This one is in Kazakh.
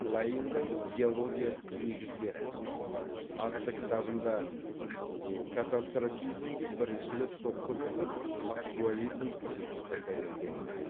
лайельдің геология негіздері атты кітабында катастрофизмге бірінші рет соққы беріліп актуализм принципі дәлелденді